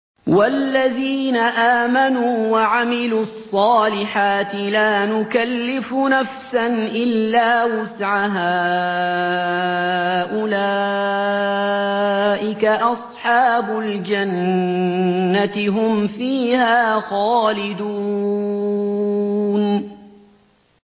وَالَّذِينَ آمَنُوا وَعَمِلُوا الصَّالِحَاتِ لَا نُكَلِّفُ نَفْسًا إِلَّا وُسْعَهَا أُولَٰئِكَ أَصْحَابُ الْجَنَّةِ ۖ هُمْ فِيهَا خَالِدُونَ